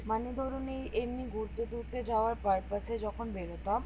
মানে ধরুন এই এমনি ঘুরতে টুরতে যাওয়ার purpose যখন বেরোতাম